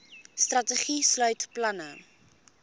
strategie sluit planne